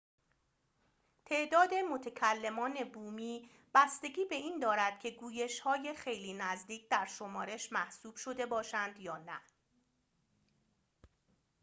تعداد متکلمان بومی بستگی به این دارد که گویش‌های خیلی نزدیک در شمارش محسوب شده باشند یا نه